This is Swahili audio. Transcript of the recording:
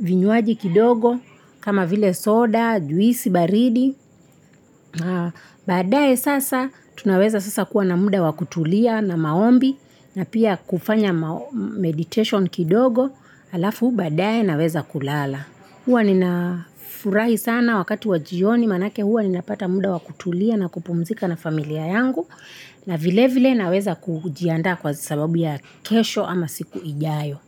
vinywaji kidogo kama vile soda, juisi baridi baadaye sasa tunaweza sasa kuwa na muda wakutulia na maombi na pia kufanya meditation kidogo. Alafu baadaye naweza kulala. Huwa ninafurahi sana wakati wa jioni manake huwa nina pata muda wakutulia na kupumzika na familia yangu na vile vile naweza kujiandaa kwa sababu ya kesho ama siku ijayo.